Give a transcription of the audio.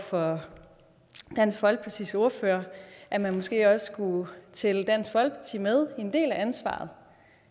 for dansk folkepartis ordfører at man måske også skulle tælle dansk folkeparti med i en del af ansvaret